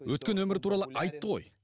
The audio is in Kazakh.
өткен өмірі туралы айтты ғой